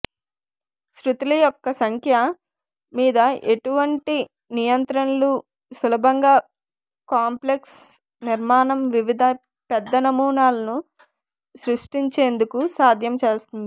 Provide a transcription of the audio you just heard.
శ్రుతుల యొక్క సంఖ్య మీద ఎటువంటి నియంత్రణలు సులభంగా కాంప్లెక్స్ నిర్మాణం వివిధ పెద్ద నమూనాలను సృష్టించేందుకు సాధ్యం చేస్తుంది